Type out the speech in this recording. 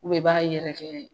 i b'a yɛrɛkɛ